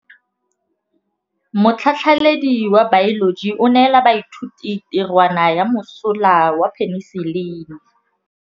Motlhatlhaledi wa baeloji o neela baithuti tirwana ya mosola wa peniselene.